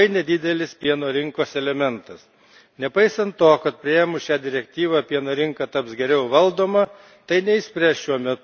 Nepaisant to, kad priėmus šią direktyvą pieno rinka taps geriau valdoma, tai neišspręs šiuo metu ją kankinančių struktūrinių problemų.